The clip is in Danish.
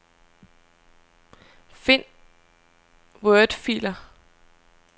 Find wordfiler.